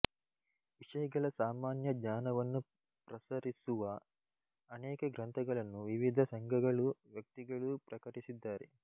ವಿಷಯಗಳ ಸಾಮಾನ್ಯ ಜ್ಞಾನವನ್ನು ಪ್ರಸರಿಸುವ ಅನೇಕ ಗ್ರಂಥಗಳನ್ನು ವಿವಿಧ ಸಂಘಗಳೂ ವ್ಯಕ್ತಿಗಳೂ ಪ್ರಕಟಿಸಿದ್ದಾರೆ